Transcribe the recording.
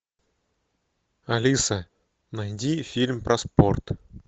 алиса найди фильм про спорт